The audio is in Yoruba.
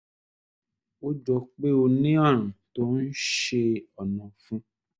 ó jọ pé ó ní ààrùn tó ń ṣe ọ̀nà ọ̀fun